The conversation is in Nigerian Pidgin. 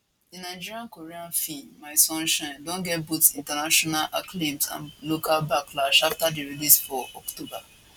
di nigeriankorean feem my sunshine don get both international acclaim and local backlash afta di release for october